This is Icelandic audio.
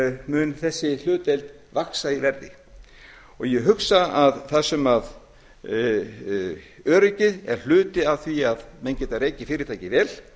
mun þessi hlutdeild vaxa í verði ég hugsa að þar sem öryggið er hluti af því að menn geti rekið fyrirtækið vel